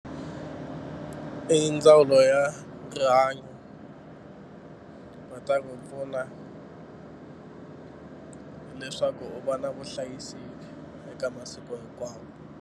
I ndzawulo ya rihanyo va ta n'wi pfuna leswaku u va na vuhlayiseki eka masiku hinkwawo.